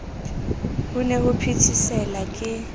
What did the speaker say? ho ne ho phethesela ke